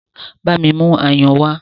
Bámi mú ayùn wá!